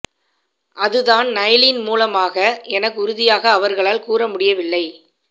அது தான் நைலின் மூலமாக என உறுதியாக அவர்களால் கூற முடியவில்லை